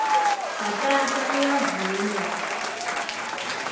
bhatata uyavunwa